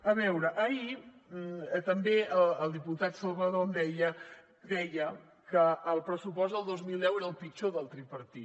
a veure ahir també el diputat salvadó em deia deia que el pressupost del dos mil deu era el pitjor del tripartit